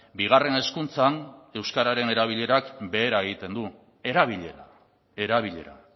bigarren hezkuntzan euskararen erabilerak behera egiten du erabilera erabilera